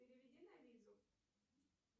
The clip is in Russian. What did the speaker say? переведи на визу